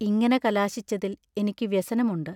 ഇങ്ങനെ കലാശിച്ചതിൽ എനിക്കു വ്യസനമുണ്ട്.